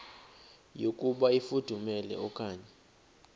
yokuba ifudumele okanye